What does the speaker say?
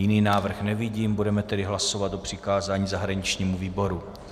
Jiný návrh nevidím, budeme tedy hlasovat o přikázání zahraničnímu výboru.